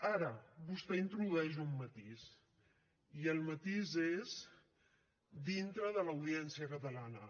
ara vostè introdueix un matís i el matís és dintre de l’audiència catalana